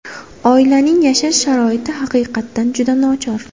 Oilaning yashash sharoiti haqiqatan juda nochor.